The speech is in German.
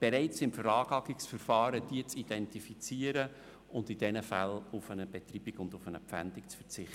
bereits im Veranlagungsverfahren zu identifizieren und bei ihnen auf eine Betreibung und eine Pfändung zu verzichten.